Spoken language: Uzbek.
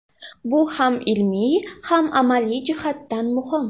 Bu ham ilmiy, ham amaliy jihatdan muhim.